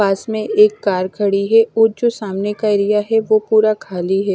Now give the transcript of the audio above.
पास में एक कार खड़ी है ओ जो सामने का एरिया है वो पूरा खाली है।